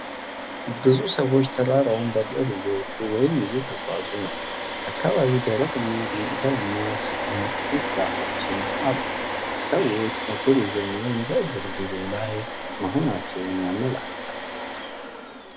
ብዙ ሰዎች ተራራውን በእግር እየወጡ ወይም እየተጓዙ ነው። አካባቢው ደረቅ እና ድንጋያማ ሲሆን ጥቂት ዛፎችም አሉ። ሰዎች በቱሪዝም ወይም በእግር ጉዞ ላይ መሆናቸውን ያመለክታል።